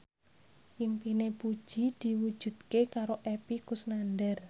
impine Puji diwujudke karo Epy Kusnandar